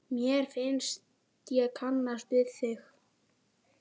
Mér finnst ég kannast við þig!